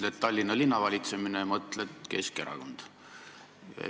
Ütled: "Tallinna linna valitsemine", mõtled: "Keskerakond".